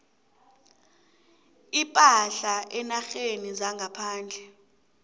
ipahla eenarheni zangaphandle